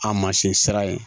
A mansin sira in